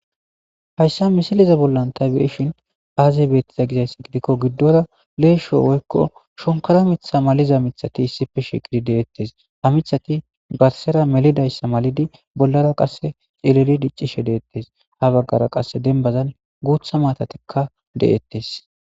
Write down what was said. Hayssa misiliza bollan ta beeshin aazie beettiza gizayss gidikko giddora leesho woykko shonkara mitha maliza mithati issife shigidi deettes ha mithati garsera melidayssa malidi bollara qasse cileli diccishe deettes ha baggara qasse denbazan guutha maatatikka de'ettes.